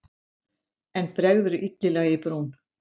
En bregður illilega í brún.